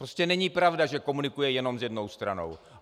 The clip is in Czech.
Prostě není pravda, že komunikuji jenom s jednou stranou.